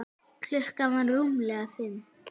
Klukkan var rúmlega fimm.